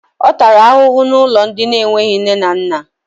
Ọ tàrà ahụhụ n'ụlọ ndị enweghị nne na nna